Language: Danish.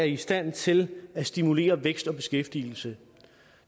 i stand til at stimulere væksten og beskæftigelsen